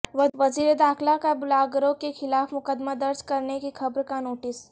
وزیر داخلہ کا بلاگروں کیخلاف مقدمہ درج کرنے کی خبر کا نوٹس